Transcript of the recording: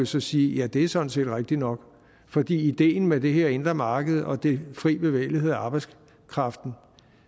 set sige at det sådan set er rigtig nok fordi ideen med det her indre marked og den frie bevægelighed af arbejdskraften